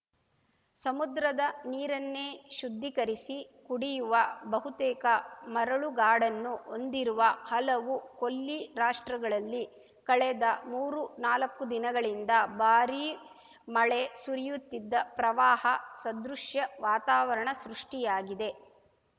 ಸಮುದ್ರದ ನೀರನ್ನೇ ಶುದ್ಧೀಕರಿಸಿ ಕುಡಿಯುವ ಬಹುತೇಕ ಮರಳುಗಾಡನ್ನು ಹೊಂದಿರುವ ಹಲವು ಕೊಲ್ಲಿ ರಾಷ್ಟ್ರಗಳಲ್ಲಿ ಕಳೆದ ಮೂರುನಾಲಕ್ಕು ದಿನಗಳಿಂದ ಭಾರೀ ಮಳೆ ಸುರಿಯುತ್ತಿದ್ದ ಪ್ರವಾಹ ಸದೃಶ್ಯ ವಾತಾವರಣ ಸೃಷ್ಟಿಯಾಗಿದೆ